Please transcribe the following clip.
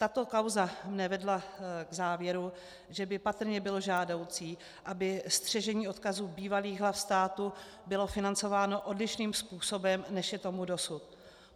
Tato kauza mě vedla k závěru, že by patrně bylo žádoucí, aby střežení odkazu bývalých hlav státu bylo financováno odlišným způsobem, než je tomu dosud.